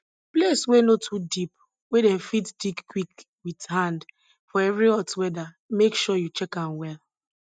place wey no too deep wey dem fit dig quick with hand for very hot weather make sure you check am well